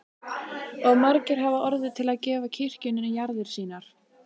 Og margir hafa orðið til að gefa kirkjunni jarðir sínar.